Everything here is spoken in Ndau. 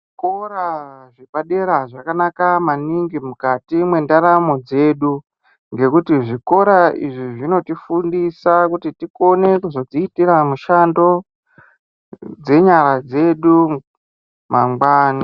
Kora zvepadera zvakanaka maningi mukati mwendaramo dzedu ngekuti zvikora izvi zvinotifundisa kuti tikone kuzodziitira mushando dzenyara dzedu mangwani.